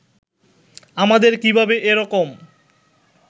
আমাদের কীভাবে এ রকম